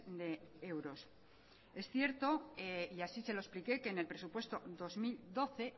de euros es cierto y así se lo expliqué que en el presupuesto dos mil doce